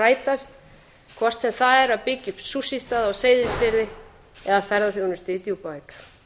rætast hvort sem það er að byggja upp stað á seyðisfirði eða ferðaþjónustu í djúpavík